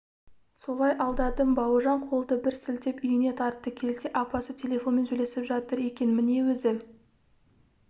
солай алдадым бауыржан қолды бір сілтеп үйіне тартты келсе апасы телефонмен сөйлесіп жатыр екен міне өзі